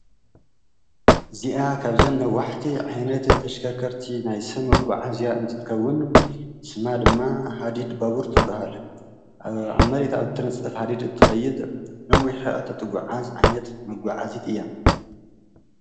እዚአ ካብዘን ነዋሕቲ ዓይነት ተሽከርከርቲ ናይ ሰብ መጓዓዝያ እንትትከውን ስማ ድማ ሃዲድ ባቡር ትበሃል፡፡ አብ መሬት አብ ተነፀፈ ሃዲድ እትከይድ ነዊሕ ርሕቐት እትጓዓዝ ዓይነት መጓዓዚት እያ፡፡